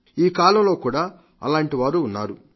ఈ కాలంలో కూడా అలాంటివారు ఉన్నారు